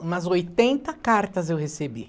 Umas oitenta cartas eu recebi.